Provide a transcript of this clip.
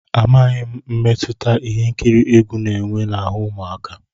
Amaghị m mmetụta ihe nkiri egwu na-enwe n'ahụ́ ụmụaka.